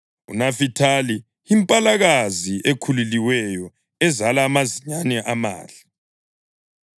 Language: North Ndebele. UNafithali yimpalakazi ekhululiweyo ezala amazinyane amahle.